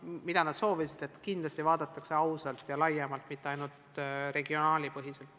Aga soovitakse, et kindlasti vaadataks võimalusi ausalt ja laiemalt, mitte ainult regioonipõhiselt.